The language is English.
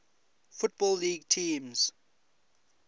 football league teams